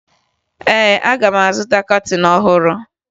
Ee, aga m azụta kọtịn ọhụrụ